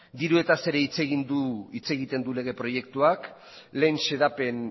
dirutaz ere hitz egiten du lege proiektuak lehen xedapen